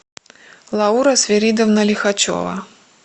лаура свиридовна лихачева